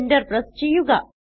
enter press ചെയ്യുക